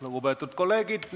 Lugupeetud kolleegid!